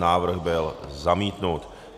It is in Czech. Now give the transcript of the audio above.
Návrh byl zamítnut.